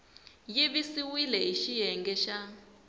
yi siviwile hi xiyenge xa